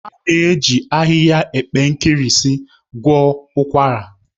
A na-eji ahịhịa epe nkirisi gwọọ ụkwara